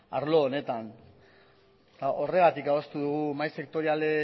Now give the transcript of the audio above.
arlo honetan eta horregatik adostu dugu